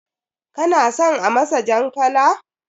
Kana son a masa jan kala?